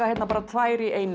tvær í einu